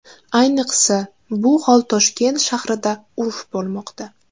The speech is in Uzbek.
Ayniqsa, bu hol Toshkent shahrida urf bo‘lmoqda.